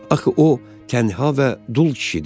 Axı o tənha və dul kişidir.